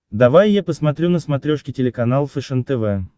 давай я посмотрю на смотрешке телеканал фэшен тв